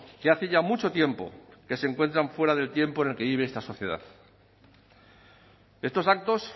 que hace ya mucho tiempo que se encuentran fuera del tiempo en el que vive esta sociedad estos actos